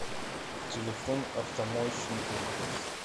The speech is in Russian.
телефон автомоечный комплекс